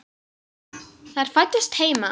Þær fæddust heima.